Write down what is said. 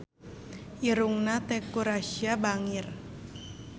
Irungna Teuku Rassya bangir